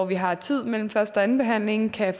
vi har tid mellem første og andenbehandlingen kan